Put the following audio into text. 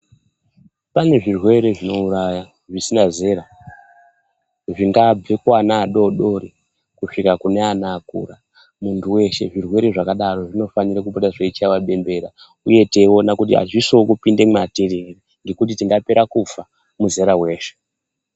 Pane zvirwere zvinouraya zvisina zera zvingabve kuana adodori kusvika kune ana akura muntu weshe zvirwere zvakadaro zvinofanira kubuda zveichaiwa bembera uye teiona kuti azvisiwo kupinda mwatiri ere ngekuti tingapera kufa muzera weshe.